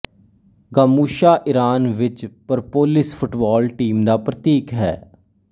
ਗਾਮੁਛਾ Iran ਵਿੱਚ Persepolis football team ਦਾ ਪ੍ਰਤੀਕ ਹੈ